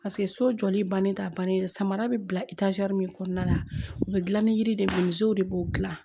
so jɔli bannen tɛ a bannen samara bɛ bila min kɔnɔna la u bɛ gilan ni yiri de de b'o dilan